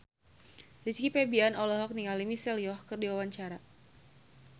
Rizky Febian olohok ningali Michelle Yeoh keur diwawancara